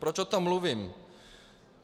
Proč o tom mluvím?